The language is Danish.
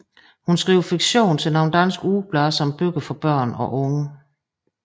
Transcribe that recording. Hun skriver fiktion til nogle danske ugeblade samt bøger for børn og unge